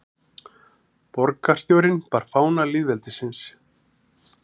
Borgarstjórinn bar fána lýðveldisins